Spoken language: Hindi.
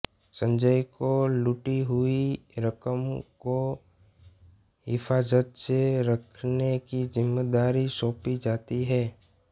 संजय को लूटी हुई रकम को हिफाज़त से रखने की ज़िम्मेदारी सौंपी जाती है